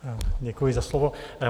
Děkuji za slovo.